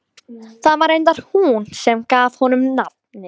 Það var reyndar hún sem gaf honum nafnið.